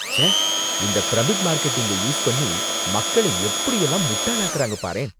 ச்சே! இந்த பிரமிட் மார்க்கெட்டிங்க யூஸ் பண்ணி மக்களை எப்படியெல்லாம் முட்டாளாக்கறாங்க பாரேன்.